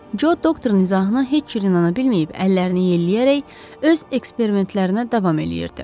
Co doktorun izahına heç cür inana bilməyib, əllərini yelləyərək öz eksperimentlərinə davam eləyirdi.